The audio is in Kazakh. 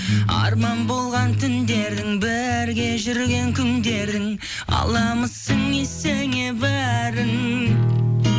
арман болған түндердің бірге жүрген күндердің аламысың есіңе бәрін